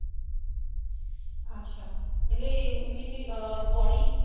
ଆଚ୍ଛା ହେଲେ ଏମିତି ଅ ବଢି